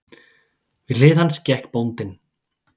Við hlið hans gekk bóndinn.